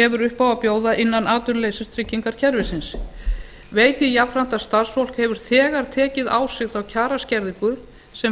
hefur upp á að bjóða innan atvinnuleysistryggingakerfisins veit ég jafnframt að starfsfólk hefur þegar tekið á sig þá kjaraskerðingu sem